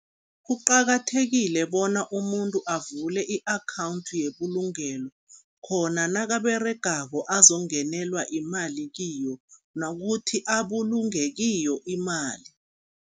Kuqakathekile bona umuntu avule i-akhawundi yebulungelo, khona nakaberegako azongenelwa imali kiyo nokuthi abulunge kiyo imali.